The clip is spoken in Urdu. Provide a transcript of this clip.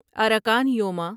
اراکان یوما